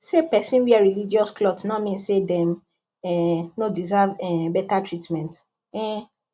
say person wear religious cloth no mean say dem um no deserve um better treatment um